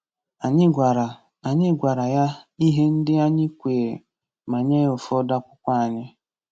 Anyị gwara Anyị gwara ya ihe ndị anyị kweere ma nye ya ụfọdụ akwụkwọ anyị.